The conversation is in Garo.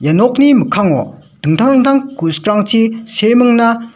ia nokni mikkango dingtang dingtang ku·sikrangchi seemingna--